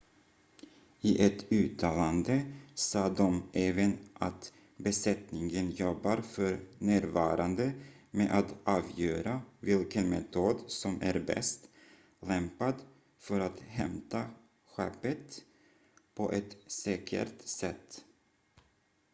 "i ett uttalande sa de även att "besättningen jobbar för närvarande med att avgöra vilken metod som är bäst lämpad för att hämta skeppet på ett säkert sätt"".